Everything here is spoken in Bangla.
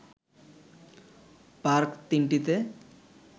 পার্ক ৩ টিতে